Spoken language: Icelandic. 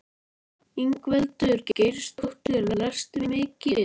Ingveldur Geirsdóttir: Lestu mikið?